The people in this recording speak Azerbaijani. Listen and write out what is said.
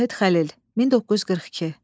Zahid Xəlil, 1942.